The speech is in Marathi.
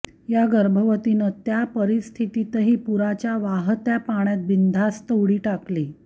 या गर्भवतीनं त्या परिस्थितीतही पुराच्या वाहत्या पाण्यात बिनधास्त उडी टाकली